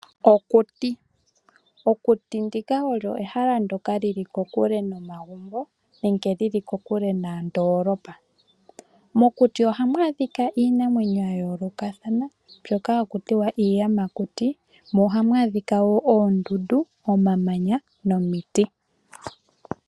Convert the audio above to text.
Okuti olyo ehala ndjoka lili kokule nomagumbo, nenge lili kokule noondoolopa. Mokuti ohamu adhika iinamwenyo ya yoolokathana, mbyoka hayi ithanwa iiyamakuti, mo ohamu adhika wo oondundu, omamanya, nomiti.